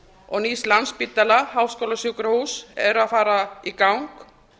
og nýs landspítala háskólasjúkrahúss er að fara í gang